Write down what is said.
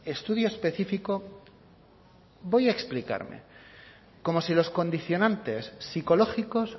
estudio específico voy a explicarme como si los condicionantes psicológicos